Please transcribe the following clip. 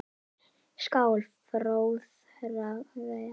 skal fróðra hver